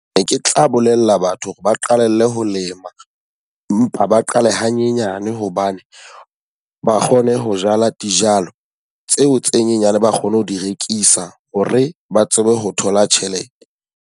Ne ke tla bolella batho hore ba qalelle ho lema mpa ba qale hanyenyane hobane ba kgone ho jala dijalo, tseo tse nyenyane ba kgone ho di rekisa. Ho re ba tsebe ho thola tjhelete.